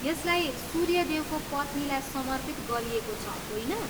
यसलाई सूर्य देवको पत्नीलाई समर्पित गरिएको छ, होइन?